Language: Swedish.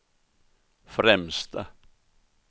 främsta